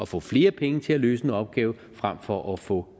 få flere penge til at løse en opgaven frem for at få